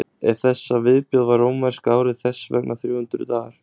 eftir þessa viðbót var rómverska árið þess vegna þrjú hundruð dagar